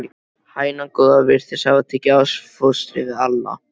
Hænan góða virtist hafa tekið ástfóstri við Alla.